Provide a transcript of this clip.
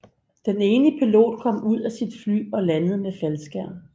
Den ene pilot kom ud af sit fly og landede med faldskærm